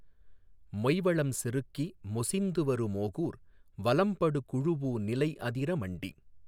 மொய்வளம் செருக்கி மொசிந்துவரு மோகூர் வலம்படு குழூஉநிலை அதிர மண்டி